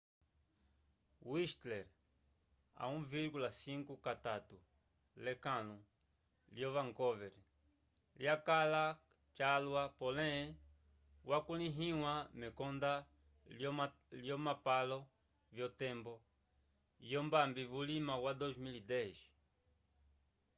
whistler a 1,5 kakutu l’ekãlu lyo vancouver lyakãla calwa pole wakulĩhiwa mekonda lyolomapalo vyotembo yombambi vulima wa 2010